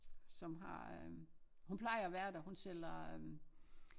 Som har øh hun plejer at være der hun sælger øh